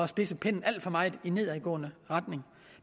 spidse pennen alt for meget i nedadgående retning